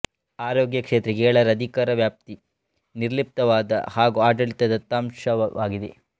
ಆರೋಗ್ಯ ಕ್ಷೇತ್ರ ಏಳರ ಅಧಿಕಾರವ್ಯಾಪ್ತಿ ನಿರ್ಲಿಪ್ತವಾದ ಹಾಗೂ ಆಡಳಿತ ದತ್ತಾಂಶವಾಗಿದೆ